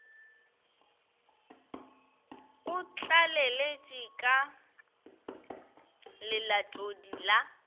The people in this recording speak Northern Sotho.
o tlaleletše ka lelatodi la